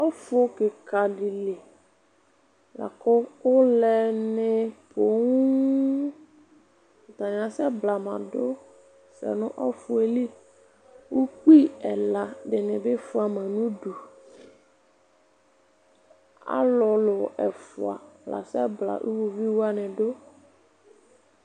Ɔfu kika dili laku ulɛ ni owu atani asɛ blama du nu ɔfu yɛli ukpi ɛla dinibi fua ma nu udu alu lu ɛfua la asɛ bla iɣovi wani du